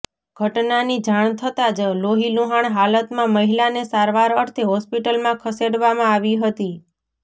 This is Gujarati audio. ઘટનાની જાણ થતા જ લોહીલુહાણ હાલતમાં મહિલાને સારવાર અર્થે હોસ્પિટલમાં ખસેડવામાં આવી હતી